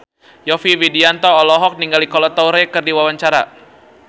Yovie Widianto olohok ningali Kolo Taure keur diwawancara